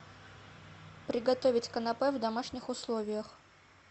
приготовить канапе в домашних условиях